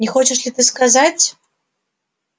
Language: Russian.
не хочешь ли ты сказать